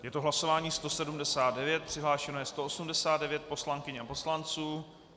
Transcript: Je to hlasování 179, přihlášeno je 189 poslankyň a poslanců.